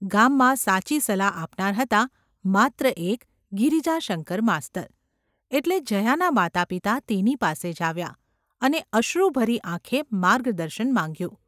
ગામમાં સાચી સલાહ આપનાર હતા માત્ર એક ગિરિજાશંકર માસ્તર, એટલે જયાનાં માતાપિતા તેની પાસે જ આવ્યાં અને અશ્રુભરી ​ આંખે માર્ગદર્શન માંગ્યું.